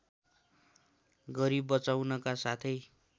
गरि बचाउनका साथै